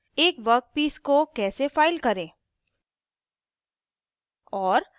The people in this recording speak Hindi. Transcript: एक वर्कपीस को कैसे फ़ाइल करें